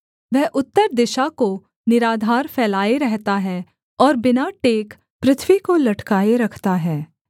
वह उत्तर दिशा को निराधार फैलाए रहता है और बिना टेक पृथ्वी को लटकाए रखता है